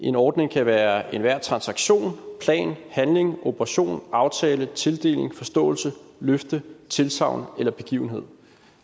en ordning kan være enhver transaktion plan handling operation aftale tildeling forståelse løfte tilsagn eller begivenhed